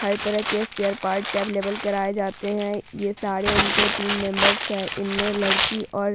हर तरह के spare parts available कराए जाते हैं ये सारे उनके टीम मेंबर्स है इनमें लड़की और --